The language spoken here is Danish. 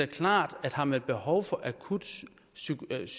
klart at har man behov for akut psykiatrisk